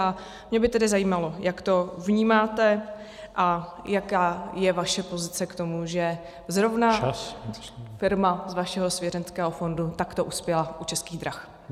A mě by tedy zajímalo, jak to vnímáte a jaká je vaše pozice k tomu , že zrovna firma z vašeho svěřenského fondu takto uspěla u Českých drah.